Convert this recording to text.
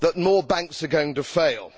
that more banks are going to fail.